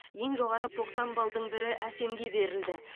ең жоғары тоқсан баллдың бірі әсемге берілді